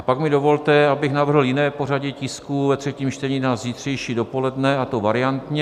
A pak mi dovolte, abych navrhl jiné pořadí tisků ve třetím čtení na zítřejší dopoledne, a to variantně.